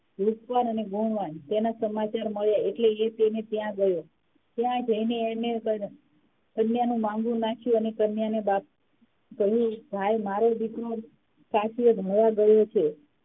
રૂપવાન અને ગુણવાન તેના સમાચાર મળ્યા એટલે ત્યા ગયો ત્યા જઇને કન્યા નુ માંન્ગું નાખ્યું અને કન્યાના બાપ ભઈ ભાઈ મારે દીકરો કાશીએ ભણવા ગયો છે